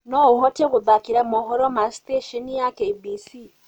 noũhote gutthakira mohoro ma sesheni ya K.B.C